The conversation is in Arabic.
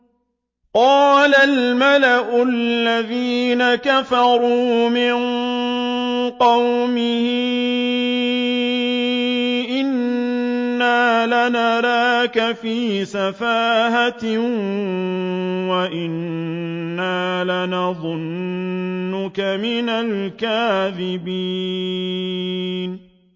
قَالَ الْمَلَأُ الَّذِينَ كَفَرُوا مِن قَوْمِهِ إِنَّا لَنَرَاكَ فِي سَفَاهَةٍ وَإِنَّا لَنَظُنُّكَ مِنَ الْكَاذِبِينَ